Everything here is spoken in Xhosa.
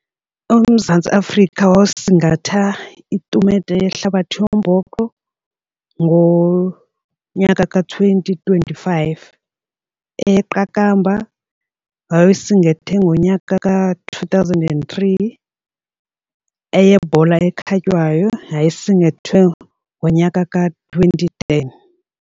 UMzantsi Afrika wasingatha itumente yehlabathi yombhoxo ngonyaka ka-twenty twenty-five, eyeqakamba wayesingathe ngonyaka ka-two thousand and three, eyebhola ekhatywayo yayisingathwe ngonyaka ka-twenty ten.